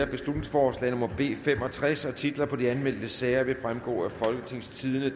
beslutningsforslag nummer b fem og tres titler på de anmeldte sager vil fremgå af folketingstidende